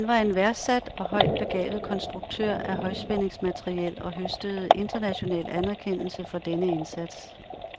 Han var en værdsat og højt begavet konstruktør af højspændingsmateriel og høstede international anerkendelse for denne indsats.